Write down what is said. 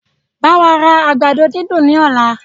Báwa ra àgbàdo dídùn ní ọ̀la!